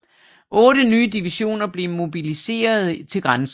Otte nye divisioner blev mobiliserede til grænsen